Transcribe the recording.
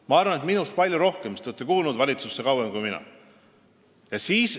Ma arvan, et minust palju rohkem, sest te olete valitsusse kuulunud kauem kui mina.